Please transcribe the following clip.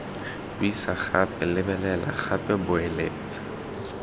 buisa gape lebelela gape boeletsa